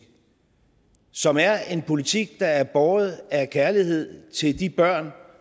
som er en politik der er båret af kærlighed til de børn